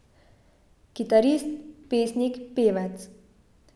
Kitarist, pesnik, pevec.